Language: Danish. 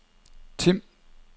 Tim